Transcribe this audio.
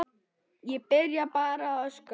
Ég byrjaði bara að öskra.